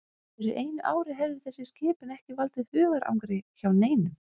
Fyrir einu ári hefði þessi skipun ekki valdið hugarangri hjá neinum.